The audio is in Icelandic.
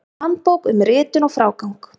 Handbók um ritun og frágang.